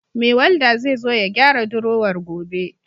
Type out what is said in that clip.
Mai Walda zai zo ya gyara drowar gobe.